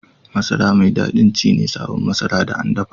Masara mai dadi ci ne sabo Masara da an dapa